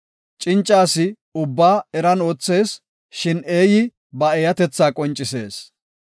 Cinca asi ubbay eran oothees; shin eeyi ba eeyatetha qoncisees.